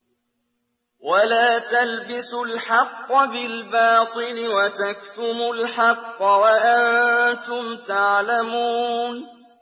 وَلَا تَلْبِسُوا الْحَقَّ بِالْبَاطِلِ وَتَكْتُمُوا الْحَقَّ وَأَنتُمْ تَعْلَمُونَ